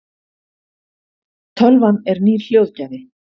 tölvan er nýr hljóðgjafi